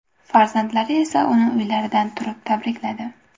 Farzandlari esa uni uylaridan turib tabrikladi.